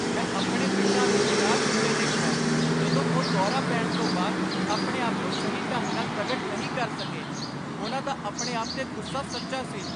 ਮੈਂ ਆਪਣੇ ਪਿਤਾ ਨੂੰ ਨਿਰਾਸ਼ ਹੁੰਦੇ ਦੇਖਿਆ ਜਦੋਂ ਉਹ ਦੌਰਾ ਪੈਣ ਤੋਂ ਬਾਅਦ ਆਪਣੇ ਆਪ ਨੂੰ ਸਹੀ ਢੰਗ ਨਾਲ ਪ੍ਰਗਟ ਨਹੀਂ ਕਰ ਸਕੇ। ਉਹਨਾਂ ਦਾ ਆਪਣੇ ਆਪ 'ਤੇ ਗੁੱਸਾ ਸੱਚਾ ਸੀ।